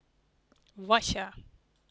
вася